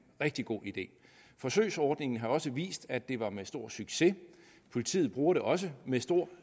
rigtig god idé forsøgsordningen har også vist at det var med stor succes politiet bruger det også med stor